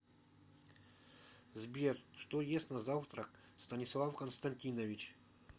сбер что ест на завтрак станислав константинович